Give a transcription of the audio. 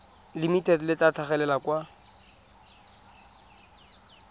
limited le tla tlhagelela kwa